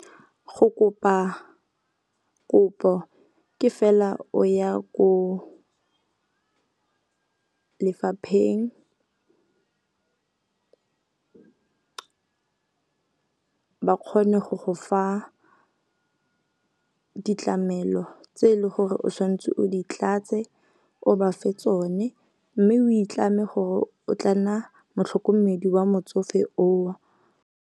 Go kopa kopo ke fela o ya ko lefapheng ba kgone go go fa ditlamelo tse e leng gore o tshwantse o di tlatse, o ba fe tsone. Mme o itlame gore o tla nna motlhokomedi wa motsofe o.